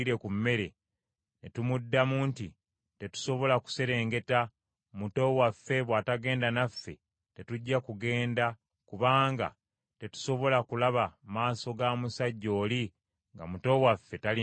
ne tumuddamu nti, ‘Tetusobola kuserengeta. Muto waffe bw’atagenda naffe tetujja kugenda kubanga tetusobola kulaba maaso ga musajja oli nga muto waffe tali naffe.’